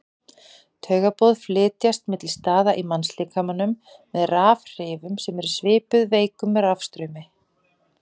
Taugaboð flytjast milli staða í mannslíkamanum með rafhrifum sem eru svipuð veikum rafstraumi.